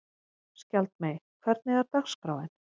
Skjaldmey, hvernig er dagskráin?